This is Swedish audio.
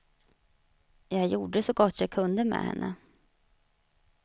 Jag gjorde så gott jag kunde med henne.